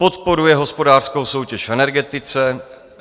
Podporuje hospodářskou soutěž v energetice.